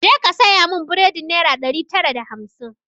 Ja ka saya mun buredin naira ɗari tara da hamsin!